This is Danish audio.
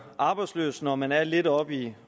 arbejdsløs når man er lidt op i